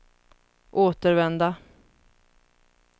återvända